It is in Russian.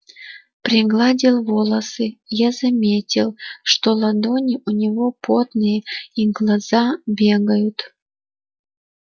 пригладил волосы я заметил что ладони у него потные и глаза бегают